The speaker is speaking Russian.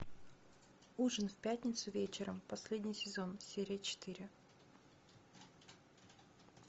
ужин в пятницу вечером последний сезон серия четыре